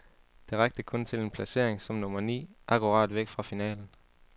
Det rakte kun til en placering som nummer ni, akkurat væk fra finalen.